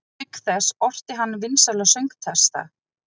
Auk þess orti hann vinsæla söngtexta.